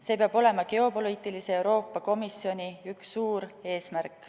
See peab olema geopoliitilise Euroopa Komisjoni üks suur eesmärk.